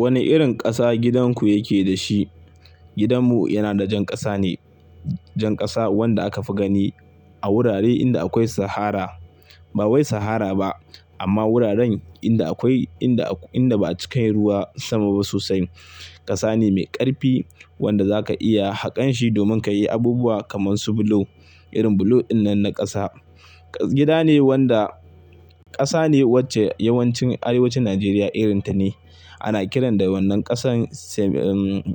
Wane irin ƙasa gidanku yake da shi? Gidanmu yana da jan ƙasa ne. Jan ƙasa wanda aka fi gani a wurare inda akwai sahara. Ba wai sahara ba amma wuraren inda akwai, inda, inda ba cikan ruwa sama ba sosai. Ƙasa ne mai ƙarfi wanda za ka iya haƙan shi domin ka yi abubuwa kamar su bulo. Irin bulo dinnan na ƙasa. Gida ne wanda ƙasa ne wacce yawancin arewacin Najeriya irinta ne. Ana kiran da wannan ƙasan sem,